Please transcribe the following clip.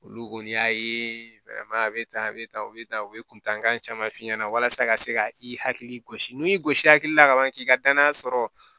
Olu kɔni y'a ye a bɛ tan a bɛ tan a bɛ tan u bɛ kuntankan caman f'i ɲɛna walasa ka se ka i hakili gosi n'i y'i gosi a la ka ban k'i ka danaya sɔrɔ